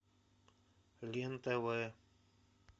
лен тв